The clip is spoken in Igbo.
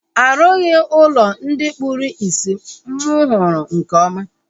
A rughi ụlọ ndị kpụrụ isi mụ hụrụ nke ọma